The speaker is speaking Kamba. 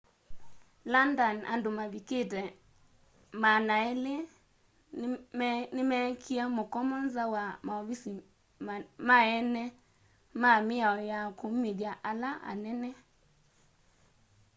london andu mavikite 200 ni mekiie mukomo nza wa mauvisi ma eene ma mĩao ya kumĩthya ala anene